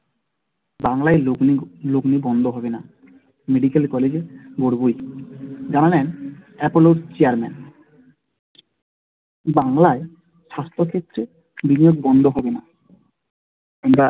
বাংলায় লগ্নি লগ্নি বন্ধ হবে না medical college এ গড়বোই জানালেন Apollo Chairman বাংলায় স্বাস্থ্য ক্ষেত্রে বিনিয়োগ বন্ধ হবে না আমরা,